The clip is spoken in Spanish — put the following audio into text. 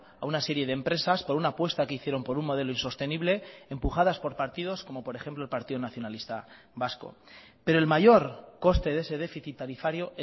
a una serie de empresas por una apuesta que hicieron por un modelo insostenible empujadas por partidos como por ejemplo el partido nacionalista vasco pero el mayor coste de ese déficit tarifario